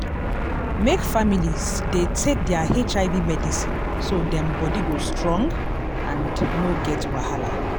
make families dey take their hiv medicine so dem body go strong and no get wahala.